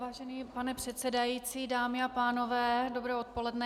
Vážený pane předsedající, dámy a pánové, dobré odpoledne.